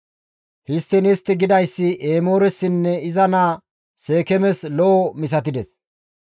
Histtiin istti gidayssi Emooressinne iza naa Seekeemes lo7o misatides.